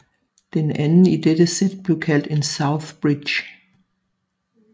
Den anden i dette sæt blev kaldt en southbridge